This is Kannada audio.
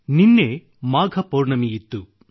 ನಿನ್ನೆ ಮಾಘ ಪೌರ್ಣಮಿಯಿತ್ತು